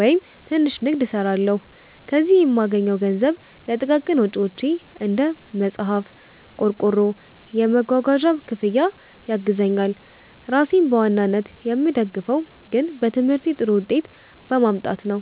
ወይም ትንሽ ንግድ) እሰራለሁ። ከዚህ የምገኘው ገንዘብ ለጥቃቅን ወጪዎቼ (እንደ መጽሐፍ፣ ቆርቆሮ፣ የመጓጓዣ ክፍያ) ያግዘኛል። ራሴን በዋናነት የምደግፈው ግን በትምህርቴ ጥሩ ውጤት በማምጣት ነው።